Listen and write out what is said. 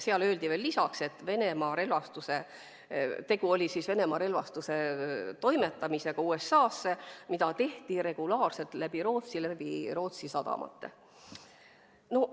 Seal öeldi veel lisaks, et tegu oli Venemaa relvastuse toimetamisega USA-sse, mida tehti regulaarselt Rootsi sadamate kaudu.